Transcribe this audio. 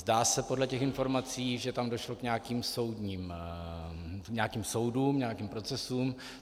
Zdá se podle těch informací, že tam došlo k nějakým soudům, nějakým procesům.